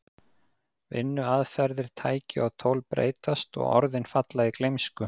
Vinnuaðferðir, tæki og tól breytast og orðin falla í gleymsku.